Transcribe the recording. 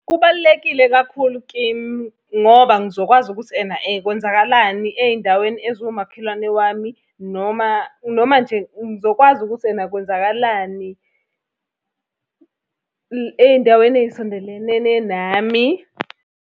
Kubalulekile kakhulu kimi, ngoba ngizokwazi ukuthi ena kwenzakalani ey'ndaweni eziwumakhelwane wami noma, noma nje ngizokwazi ukuthi ena kwenzakalani ey'ndaweni ey'sondelelene nami.